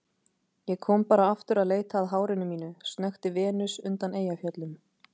Ég kom bara aftur að leita að hárinu mínu, snökti Venus undan Eyjafjöllum.